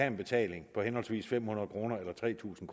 en betaling på henholdsvis fem hundrede kroner og tre tusind